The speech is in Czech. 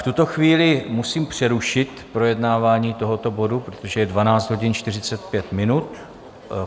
V tuto chvíli musím přerušit projednávání tohoto bodu, protože je 12 hodin 45 minut.